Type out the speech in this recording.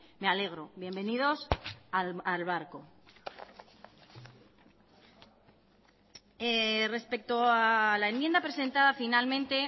me alegro bienvenidos al barco respecto a la enmienda presentada finalmente